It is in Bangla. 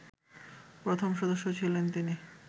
প্রথম সদস্য ছিলেন তিনি